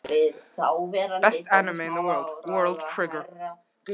Mér þykir leiðinlegt að hafa vakið þig.